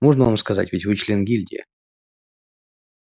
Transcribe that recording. можно вам сказать ведь вы член гильдии